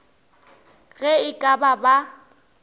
ge e ka ba ba